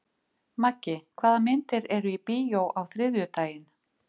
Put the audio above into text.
Maggi, hvaða myndir eru í bíó á þriðjudaginn?